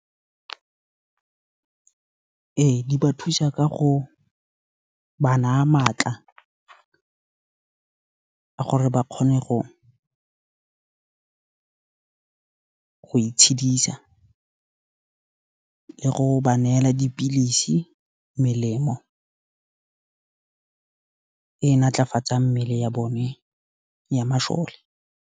Ee, di ba thusa ka go ba naa matla ka gore ba kgone go itshedisa, le go ba neela dipilisi, melemo, e natlafatsang mmele ya bone ya mashole.